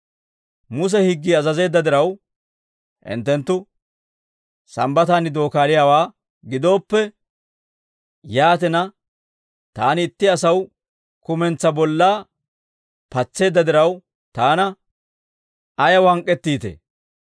Muse higgii azazeedda diraw, hinttenttu Sambbataan dookaaliyaawaa gidooppe, yaatina taani itti asaw kumentsaa bollaa patseedda diraw, taana ayaw hank'k'ettiitee?